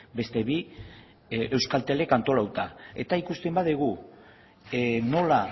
beste bi euskaltelek antolatuta eta ikusten badugu nola